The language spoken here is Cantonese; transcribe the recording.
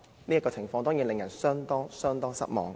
這情況當然令人相當失望。